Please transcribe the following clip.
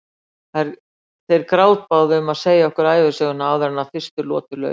Þeir grátbáðu um að segja okkur ævisöguna áður en fyrstu lotu lauk.